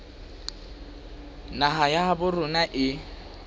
naha ya habo rona e